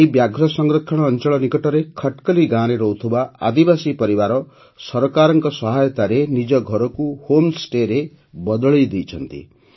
ଏହି ବ୍ୟାଘ୍ର ସଂରକ୍ଷଣ ଅଞ୍ଚଳ ନିକଟରେ ଖଟକଲି ଗାଁରେ ରହୁଥିବା ଆଦିବାସୀ ପରିବାର ସରକାରଙ୍କ ସହାୟତାରେ ନିଜ ଘରକୁ ହୋମ୍ ଷ୍ଟେରେ ବଦଳାଇ ଦେଇଛନ୍ତି